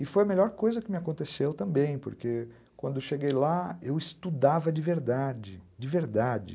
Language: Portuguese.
E foi a melhor coisa que me aconteceu também, porque quando eu cheguei lá, eu estudava de verdade, de verdade.